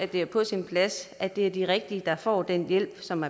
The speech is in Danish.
det er på sin plads at det er de rigtige der får den hjælp som